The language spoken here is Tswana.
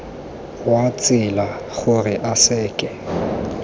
wa tsela gore a seke